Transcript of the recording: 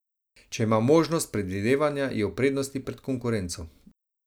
Če ima možnost predvidevanja, je v prednosti pred konkurenco.